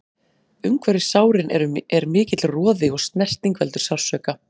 Umhverfis sárin er mikill roði og snerting veldur sársauka.